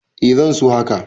Eh zan so haka.